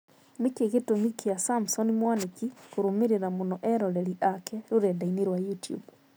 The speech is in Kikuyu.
Nĩkĩ gĩtũmi kĩa Samson Mwanĩki kũrũmĩrĩra mũno eroreri ake rũrenda-inĩ rwa youtube